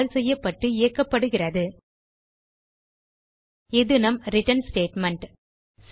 கால் செய்யப்பட்டு இயக்கப்படுகிறது இது நம் ரிட்டர்ன் ஸ்டேட்மெண்ட்